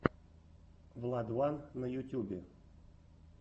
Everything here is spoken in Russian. владван на ютьюбе